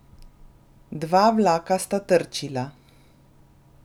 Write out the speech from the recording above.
Dva vlaka sta trčila.